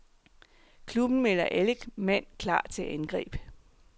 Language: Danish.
Klubben melder alle mand klar til angreb.